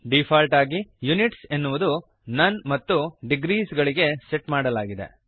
default ಆಗಿ units ಎನ್ನುವುದು none ಮತ್ತು ಡಿಗ್ರೀಸ್ ಗಳಿಗೆ ಸೆಟ್ ಮಾಡಲಾಗಿದೆ